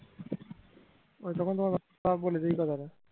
ও এখন তোমার বাবা বলেছে এই কথাটা